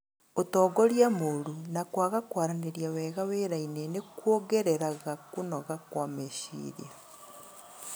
Ũtongoria moru na kwaga kwaranĩria wega wĩrainĩ nĩ kuongereraga kũnoga kwa meciria.